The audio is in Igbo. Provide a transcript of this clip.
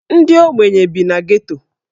Ndị ogbenye bi na Geto.